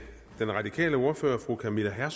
her